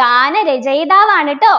ഗാന രചയിതാവാണ് ട്ടോ